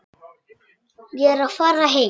Ég er að fara heim.